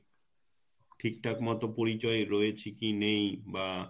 ঠিক ঠাক মত পরিচয় রয়েছে কি নেই বা